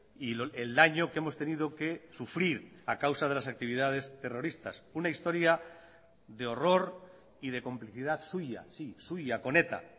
y el daño que hemos tenido que sufrir a causa de las actividades terroristas una historia de horror y de complicidad suya sí suya con eta